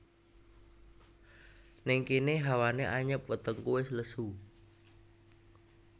Nèng kéné hawané anyep wetengku wis lesu